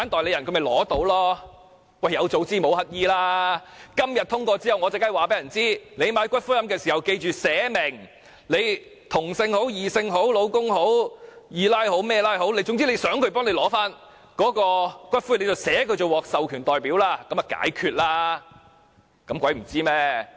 "有早知無乞兒"，今天通過修正案後，我當然會叫人購買骨灰龕位時記得寫明，無論是同性、異性、丈夫、"二奶"等關係，總之想誰領取骨灰，便寫明他為獲授權代表，這樣已可解決問題。